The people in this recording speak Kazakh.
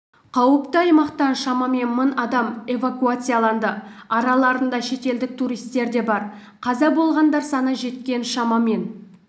қауіпті аймақтан шамамен мың адам эвакуацияланды араларында шетелдік туристер де бар қаза болғандар саны жеткен шамамен